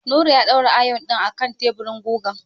Nura ya daura ayon ɗin a kan teburin gugan.